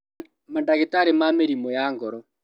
Mandagĩtarĩ ma mĩrimũ ya ngoro